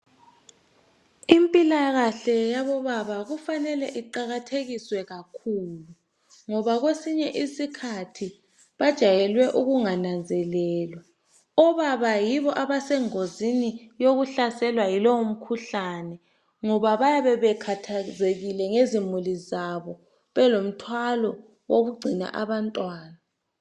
Impilakahle yabobaba kufanele iqakathekiswe kakhulu. Ngoba kwesinye isikhathi bajayelwe ukungananzelelwa. Obaba yibo abasengozini yokuhlaselwa yilowo mkhuhlani. Ngoba bayabe bekhathazekile ngezimuli zabo. Belomthwalo wokugcina abantwana.